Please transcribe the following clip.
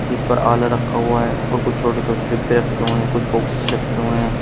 इस पर रखा हुआ है और कुछ छोटे छोटे डिब्बे रखे हुए है कुछ बॉक्स रखे हुए हैं।